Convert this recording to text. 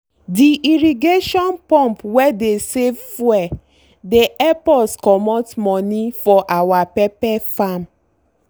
the irrigation pump wey dey save fuel dey help us comot money for our pepper farm.